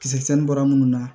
Kisɛ bɔra minnu na